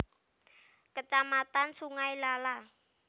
Kecamatan Sungai Lala